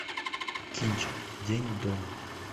кинчик день до